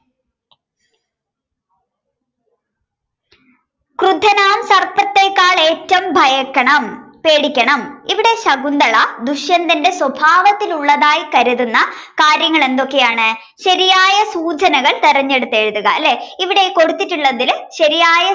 ക്രുദ്ധനാം സർപ്പത്തേക്കാൾ ഏറ്റോം ഭയക്കണം പേടിക്കണം ഇവിടെ ശകുന്തള ദുഷ്യന്തനന്റെ സ്വഭാവത്തിലുള്ളതായി കരുതുന്നകാര്യങ്ങളെന്തൊക്കെയാണ് ശരിയായ സൂചനകൾ തിരഞ്ഞെടുത്തെഴുതുക ലെ ഇവിടെ കൊടുത്തിട്ടുള്ളതില് ശരിയായ